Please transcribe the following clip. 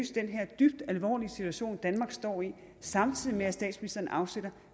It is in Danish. den her dybt alvorlige situation danmark står i samtidig med at statsministeren afsætter